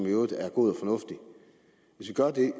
må sige